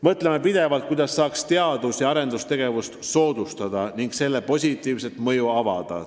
Mõtleme pidevalt, kuidas saaks teadus- ja arendustegevust soodustada ning selle positiivset mõju avada.